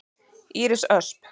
Íris Ösp.